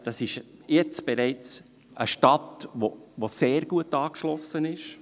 Das ist jetzt bereits eine Stadt, die sehr gut angeschlossen ist.